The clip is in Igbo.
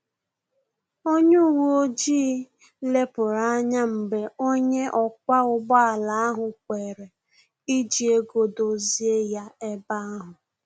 Onye uwe ojii lepuru anya mgbe onye ọkwa ụgbọ ala ahụ kwere iji ego dozie ya ebe ahu